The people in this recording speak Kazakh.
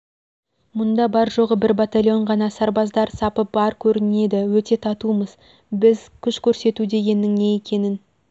мұнда бар-жоғы бір батольон ғана сарбаздар сапы бар көрінеді өте татумыз біз күш көрсету дегеннің не екенің